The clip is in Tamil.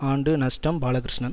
ஆண்டு நஷ்டம் பாலகிருஷ்ணன்